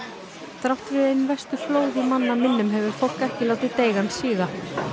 þrátt fyrir ein verstu flóð í manna minnum hefur fólk ekki látið deigan síga